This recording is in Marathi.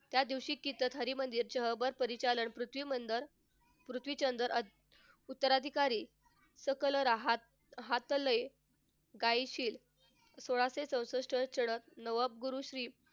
त्यादिवशी कीर्तन हरमंदिर उत्तराधिकारी सकल राहात हातले कायशीर सोळाशे चौसष्ट श्री